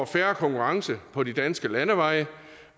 fair konkurrence på de danske landeveje